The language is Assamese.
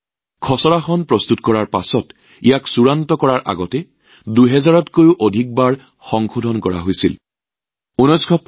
খচৰাখন প্ৰস্তুত কৰাৰ পিছত চূড়ান্ত গাঁথনি প্ৰস্তুত দিয়াৰ আগতে ২০০০ৰো অধিক সংশোধনী ইয়াত পুনৰ অন্তৰ্ভুক্ত কৰা হৈছিল